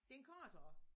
Den er korthåret